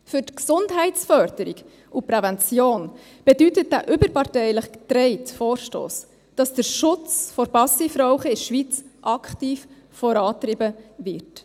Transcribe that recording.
Für die Gesundheitsförderung und Prävention bedeutet dieser überparteilich getragene Vorstoss, dass der Schutz vor Passivrauchen in der Schweiz aktiv vorangetrieben wird.